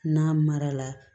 N'a mara la